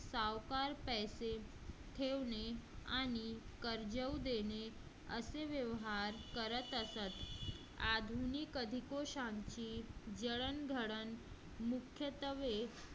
सावकार पैसे ठेवणे आणि कर्ज देणे असे व्यवहार करत असत. आधुनिक अधिक वर्षांची जडणघडण मुख्यत्वे